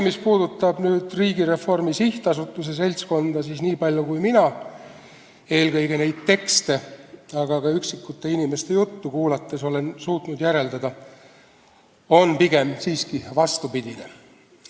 Mis puudutab Riigireformi SA seltskonda, siis niipalju kui mina eelkõige nendest tekstidest, aga ka üksikute inimeste juttu kuulates olen suutnud järeldada, on seal pigem siiski vastupidine arvamus.